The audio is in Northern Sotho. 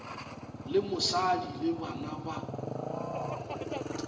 le mosadi le bana ba